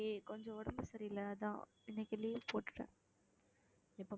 இன்னைக்கு கொஞ்சம் உடம்பு சரியில்லை அதான் இன்னைக்கு leave போட்டுட்டேன்